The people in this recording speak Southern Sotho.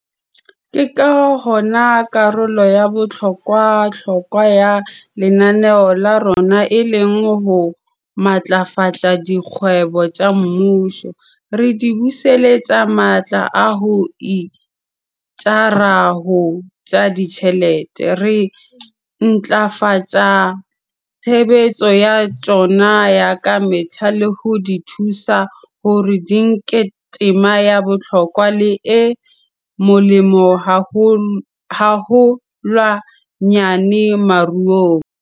Ke ka hona karolo ya bohlokwa-hlokwa ya lenaneo la rona e leng ho matlafatsa dikgwebo tsa mmuso, re di buseletsa matla a ho itjara ho tsa ditjhelete, re ntlafatsa tshebetso ya tsona ya ka mehla le ho di thusa hore di nke tema ya bohlokwa le e molemo haholwanyane moruong.